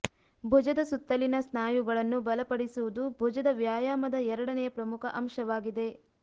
ಭುಜದ ಸುತ್ತಲಿನ ಸ್ನಾಯುಗಳನ್ನು ಬಲಪಡಿಸುವುದು ಭುಜದ ವ್ಯಾಯಾಮದ ಎರಡನೆಯ ಪ್ರಮುಖ ಅಂಶವಾಗಿದೆ